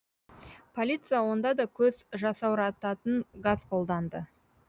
полиция онда да көз жасаурататын газ қолданды